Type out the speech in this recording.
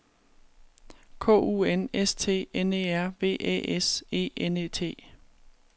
K U N S T N E R V Æ S E N E T